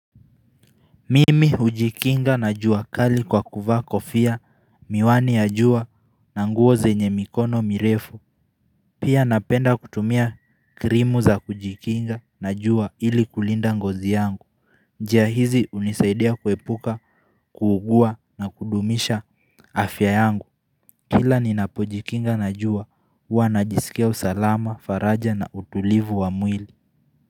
Mimi ujikinga na juakali kwa kuvaa ko fia miwani ya jua na nguo zenye mikono mirefu Pia napenda kutumia krimu za kujikinga na jua ili kulinda ngozi yangu njia hizi unisaidia kuepuka kuugua na kudumisha afya yangu Kila ninapojikinga na jua huwa najisikia usalama faraja na utulivu wa mwili.